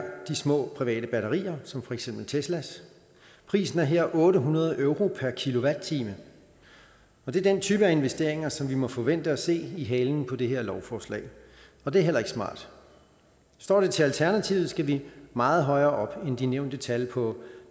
de små private batterier som for eksempel teslas prisen er her otte hundrede euro per kilowatt time og det er den type af investeringer som vi må forvente at se i halen på det her lovforslag og det er heller ikke smart står det til alternativet skal vi meget højere op end de nævnte tal på